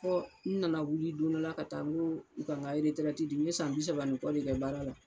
Fɔ n nana wuli don dɔ la ka taa n ko u ka nka eretirɛti di n ye san bi saba ni kɔ de kɛ baara la